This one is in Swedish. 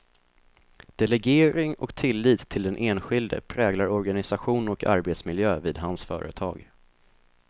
Delegering och tillit till den enskilde präglar organisation och arbetsmiljö vid hans företag.